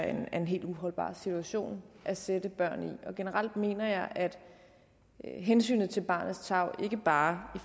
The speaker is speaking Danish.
er en helt uholdbar situation at sætte børn i og generelt mener jeg at hensynet til barnets tarv ikke bare